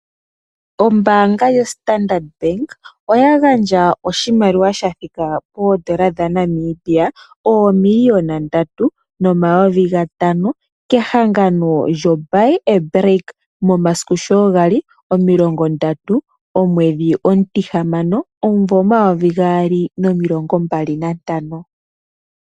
Ombaanga yoStandard Bank oya gandja oshimaliwa sha thika poondola dhaNamibia oomiliona ndatu nomayovi gatano kehangano lyo'Buy A Brick, momasiku sho kwali omilongo ndatu gaJuni, omumvo omayovi gaali nomilongo mbali nantano.